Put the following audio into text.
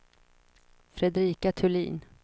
Fredrika Thulin